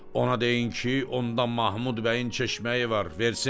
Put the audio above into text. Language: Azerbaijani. Ona deyin ki, onda Mahmud bəyin çeşməyi var, versin.